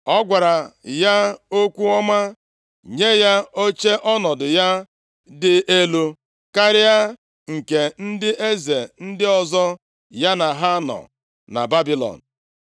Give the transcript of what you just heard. Ọ gwara ya okwu ọma, nye ya oche ọnọdụ ya dị elu karịa nke ndị eze ndị ọzọ ya na ha nọ na Babilọn.